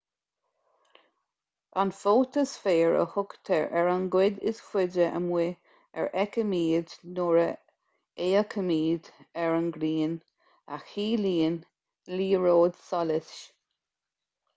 an fótasféar a thugtar ar an gcuid is faide amuigh a fheicimid nuair a fhéachaimid ar an ngrian a chiallaíonn liathróid solais